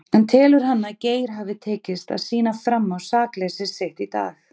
En telur hann að Geir hafi tekist að sýna fram á sakleysi sitt í dag?